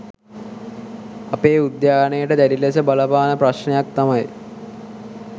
අපේ උද්‍යානයට දැඩි ලෙස බලපාන ප්‍රශ්නයක් තමයි